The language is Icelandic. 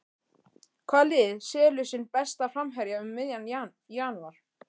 Hvaða lið selur sinn besta framherja um miðjan janúar?